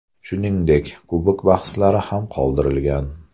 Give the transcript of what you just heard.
Shuningdek, Kubok bahslari ham qoldirilgan.